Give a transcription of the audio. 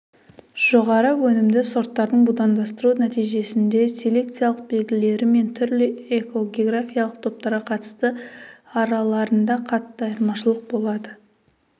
жоғары өнімді сорттарды будандастыру нәтижесінде селекциялық белгілері мен түрлі эко-географиялық топтарға қатысты араларында қатты айырмашылық болады